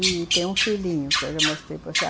E tem um filhinho, que eu já mostrei para você.